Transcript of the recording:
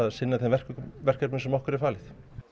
sinna þeim verkefnum verkefnum sem okkur er falið